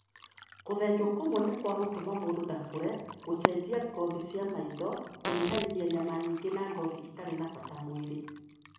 Kũthenjwo kũmwe nĩ kwa 'gũtũma mũndũ ndakũre' 'gũcenjia ngothe cia maitho' 'Kũnyihanyihia nyama nyingĩ na ngothi ĩtarĩ na bata mwĩrĩ''.